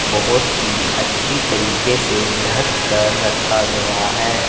बहोत ही अच्छी तरीके से ढक कर रखा गया है।